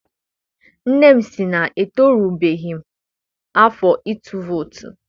Nne m sị na etorubeghị m afọ ịtụ vootu.